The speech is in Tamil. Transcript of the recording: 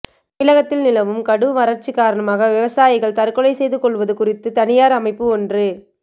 தமிழகத்தில் நிலவும் கடும் வறட்சி காரணமாக விவசாயிகள் தற்கொலை செய்து கொள்வது குறித்து தனியார் அமைப்பு ஒன்று